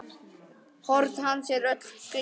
Horn hans eru öll gleið.